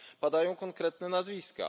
Padają konkretne nazwiska.